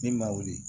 Min ma wuli